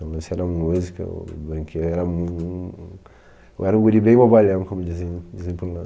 Meu lance era música ou brinque, eu era mu um um um eu era um guri bem bobalhão, como diziam dizem por lá.